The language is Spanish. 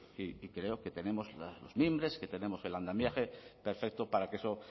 y creo que tenemos los mimbres que tenemos el andamiaje perfecto para que eso